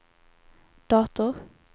dator